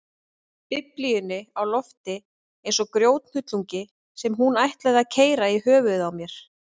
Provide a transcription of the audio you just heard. Biblíunni á lofti eins og grjóthnullungi sem hún ætlaði að keyra í höfuðið á mér.